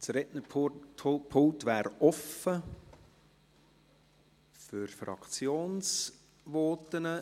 Das Rednerpult wäre offen für Fraktionsvoten.